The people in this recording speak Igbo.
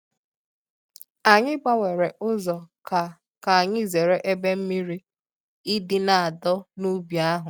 Anyị gbanwere ụzọ ka ka anyị zere ebe mmiri idi na adọ n’ubi ahụ.